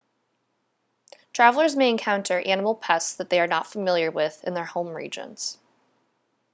travellers may encounter animal pests that they are not familiar with in their home regions